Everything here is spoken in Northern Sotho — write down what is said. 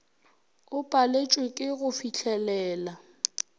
o paletšwe ke go fihlelela